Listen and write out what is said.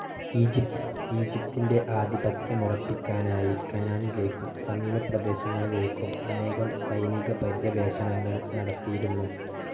ഈജിപ്തിൻ്റെ ആധിപത്യമുറപ്പിക്കാനായി കാനാനിലേക്കും സമീപ പ്രദേശങ്ങളിലേക്കും അനേകം സൈനിക പര്യവേഷണങ്ങൾ നടത്തിയിരുന്നു.